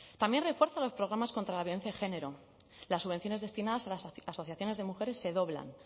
también refuerza los programas contra la violencia de género las subvenciones destinas a las asociaciones de mujeres se doblan